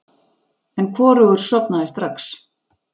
En hvorugur sofnaði strax.